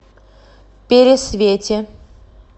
пересвете